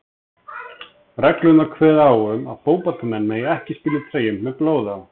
Reglur kveða á um að fótboltamenn mega ekki spila í treyjum með blóði á.